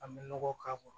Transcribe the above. An bɛ nɔgɔ k'a kɔrɔ